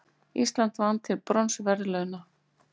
Ísland vann til bronsverðlauna